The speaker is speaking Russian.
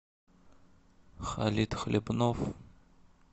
халит хлипнов